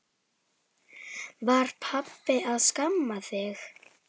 Var pabbi að skamma þig?